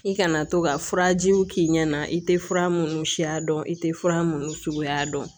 I kana to ka furajiw k'i ɲɛna i tɛ fura minnu siya dɔn i tɛ fura minnu suguya dɔn